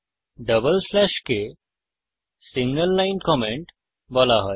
double স্ল্যাশকে single line comment বলা হয়